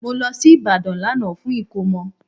Mo lọ sí Ìbàdàn lánàá fún ìkómọ